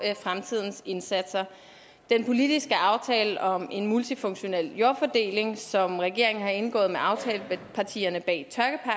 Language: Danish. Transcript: fremtidens indsatser den politiske aftale om en multifunktionel jordfordeling som regeringen har indgået med aftalepartierne bag